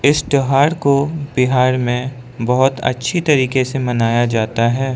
इस त्यौहार को बिहार में बहुत अच्छी तरीके से मानाया जाता है।